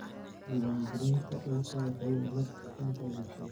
Diiwaangelinta dhulku waxay nabad ku keentaa bulshada.